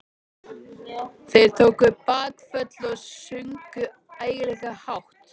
Þeir tóku bakföll og sungu ægilega hátt.